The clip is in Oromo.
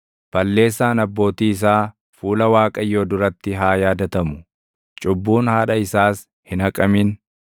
Balleessaan abbootii isaa fuula Waaqayyoo duratti haa yaadatamu; cubbuun haadha isaas hin haqamin.